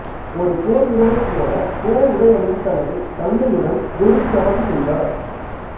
ஒரு போர் வீரரைப் போல போர் உடை அணிந்து தனது தந்தையுடன் குதிரை சவாரி செய்தார்